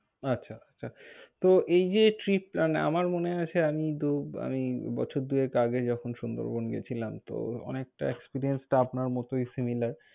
আচ্ছা আচ্ছা। তো এই যে trip মানে তো আমার মনে আছে, আমি দু~ বছর দুয়েক আগে যখন সুন্দরবন গেছিলাম তো অনেকটা experience তো আপনার মতই similar ।